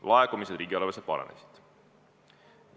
Laekumised riigieelarvesse kasvasid.